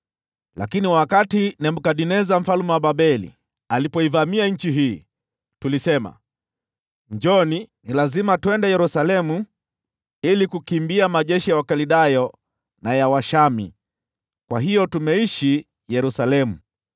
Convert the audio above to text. Lakini wakati Nebukadneza mfalme wa Babeli alipoivamia nchi hii, tulisema, ‘Njooni, lazima twende Yerusalemu ili kukimbia majeshi ya Wakaldayo na ya Washamu.’ Kwa hiyo tumeishi Yerusalemu.”